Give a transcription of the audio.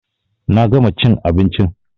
Na gama chin abinchin